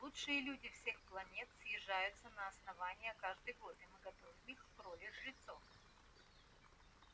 лучшие люди всех планет съезжаются на основание каждый год и мы готовим их к роли жрецов